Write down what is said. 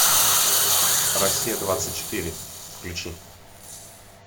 россия двадцать четыре включи